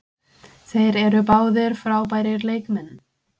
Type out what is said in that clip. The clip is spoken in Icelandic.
Þeir eru báðir frábærir leikmenn.